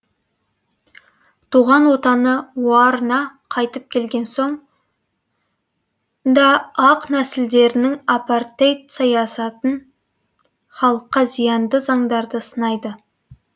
туған отаны оар на қайтып келген соң да ақ нәсілділердің апартейд саясатын халыққа зиянды заңдарды сынайды